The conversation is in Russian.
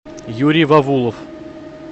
юрий вавулов